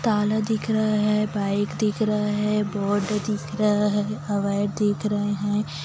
ताला दिख रहा है बाइक दिख रहा है बोर्ड दिख रहा है दिख रहे है।